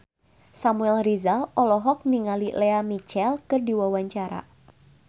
Samuel Rizal olohok ningali Lea Michele keur diwawancara